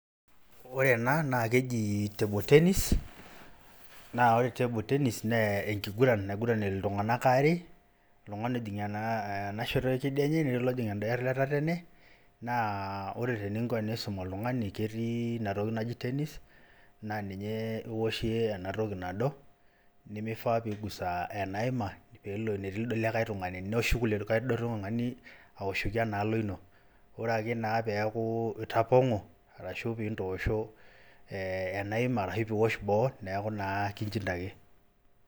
Ore ena naake eji table tennis naa ore table tennis, nee enkiguran naiguran iltung'anak are oltung'ani ojing' ena shoto e kedienye netii olojing enda e tetene, naa ore teninko tenisum oltung'ani ketii inatoki naji tennis naa ninye iwoshie ena toki nado nemifaa piigusa enaima peelo enetii lido likai tung'ani, neshuku lido likai tung'ani awoshoki ena alo ino. Ore ake peeku itapong'o arashu piintosho ee enaima arashu itu iwosh boo neeku naa kichindaki.